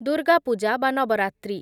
ଦୁର୍ଗା ପୂଜା ବା ନବରାତ୍ରି